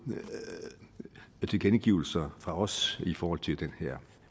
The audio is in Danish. tilkendegivelser fra os i forhold til den her